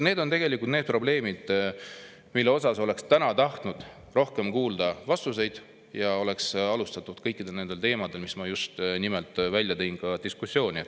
Need on tegelikult need probleemid, mille kohta oleks täna tahtnud rohkem kuulda vastuseid ja seda, et kõikidel nendel teemadel, mis ma just nimelt välja tõin, oleks alustatud ka diskussiooni.